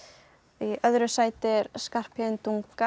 í öðru sæti er Skarphéðin